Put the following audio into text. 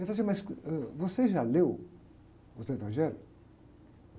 Ele falou assim, mas, ãh, você já leu os evangelhos?